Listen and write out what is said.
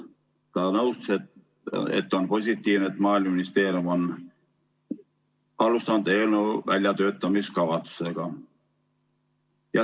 Ta nõustus, et on positiivne, et Maaeluministeerium on alustanud eelnõu väljatöötamiskavatsusega.